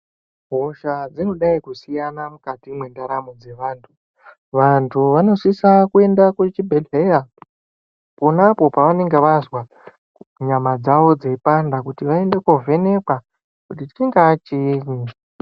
Hosha dzinodai kusiyana mukati mwentaramo dzeantu. Vantu vanosise kuenda kuchibhedhleya ponapo pavanenge vazwa nyama dzavo dzeipanda kuti vaende kovhenekwa kuti chingaa chiinyi.